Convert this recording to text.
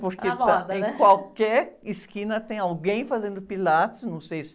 Está na moda, né?orque em qualquer esquina tem alguém fazendo Pilates, não sei se...